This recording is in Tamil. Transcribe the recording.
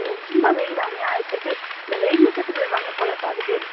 ரொம்ப வெயில் அநியாயத்துக்கு இந்த வெயில்ல செத்து போய் வாங்க போல பாதி பேரு